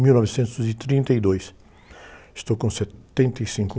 mil novecentos e trinta e dois. Estou com setenta e cinco...